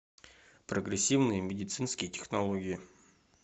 прогрессивные медицинские технологии